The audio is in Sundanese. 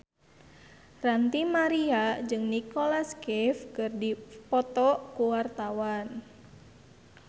Ranty Maria jeung Nicholas Cafe keur dipoto ku wartawan